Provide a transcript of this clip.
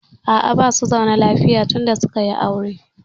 A'a, basu zaune lafiya tun da suka yi aure.